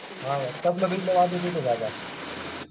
हा भो